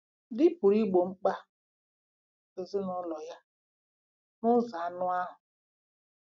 Di pụrụ igbo mkpa ezinụlọ ya n'ụzọ anụ ahụ́.